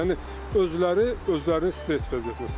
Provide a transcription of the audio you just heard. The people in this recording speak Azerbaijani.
Yəni özləri özlərini stress vəziyyətinə salırlar.